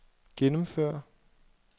gennemføre